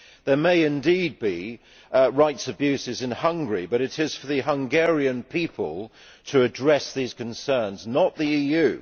There may indeed be rights abuses in Hungary, but it is for the Hungarian people to address these concerns and not the EU.